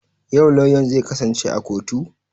Yau lauyan zai kasance a kotu?